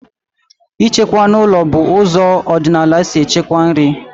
Ịchekwa n'ụlọ bụ ụzọ ọdịnala si echekwa nri